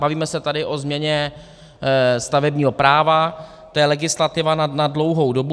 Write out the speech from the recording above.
Bavíme se tady o změně stavebního práva, to je legislativa na dlouhou dobu.